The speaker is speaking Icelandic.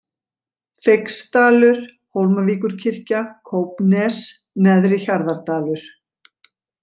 Feigsdalur, Hólmavíkurkirkja, Kópnes, Neðri Hjarðardalur